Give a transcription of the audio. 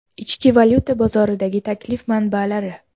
Ichki valyuta bozoridagi taklif manbalari.